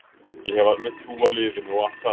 Ég hef alveg trú á liðinu og allt það.